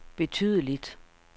betydeligt